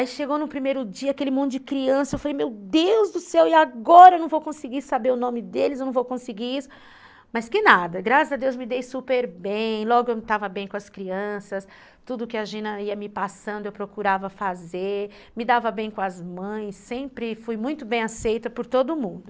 Aí chegou no primeiro dia aquele monte de criança, eu falei, meu Deus do céu, e agora eu não vou conseguir saber o nome deles, eu não vou conseguir isso, mas que nada, graças a Deus me dei super bem, logo eu estava bem com as crianças, tudo que a Gina ia me passando eu procurava fazer, me dava bem com as mães, sempre fui muito bem aceita por todo mundo.